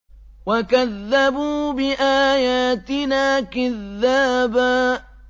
وَكَذَّبُوا بِآيَاتِنَا كِذَّابًا